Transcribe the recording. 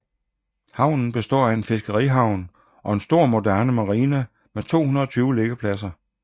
Havnen består af en fiskerihavn og en stor moderne marina med 220 liggepladser